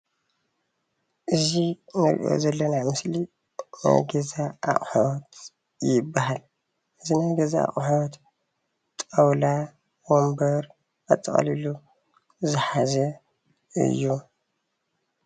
እዚ እንሪኦ ዘለና ምስሊ ናይ ገዛ ኣቁሑት ይባሃል፡፡ እዚ ናይ ገዛ ኣቁሑት ጣውላ ወንበር ኣጠቃሊሉ ዝሓዘ እዩ፡፡